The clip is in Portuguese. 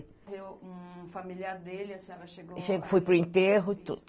Morreu um familiar dele, a senhora chegou... Fui para o enterro tudo.